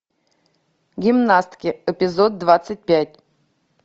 гимнастки эпизод двадцать пять